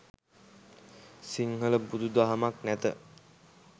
සිංහල බුදු දහමක් නැත